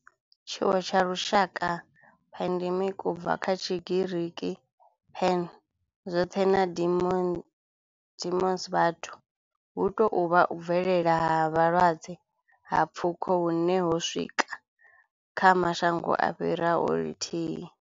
Tshiwo tsha lushaka, pandemic, u bva kha Tshigiriki pan, zwothe na demos, vhathu, hu tou vha u bvelela ha vhulwadze ha pfuko hune ho swika kha mashango a fhiraho lithihi.